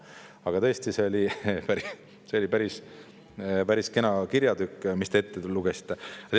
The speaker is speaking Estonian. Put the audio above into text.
Aga tõesti, see oli päris kena kirjatükk, mis te ette lugesite.